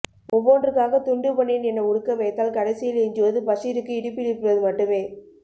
ஒவ்வொன்றுக்காக துண்டு பனியன் என உடுக்க வைத்தால் கடைசியில் எஞ்சுவது பஷீருக்கு இடுப்பிலிருப்பது மட்டுமே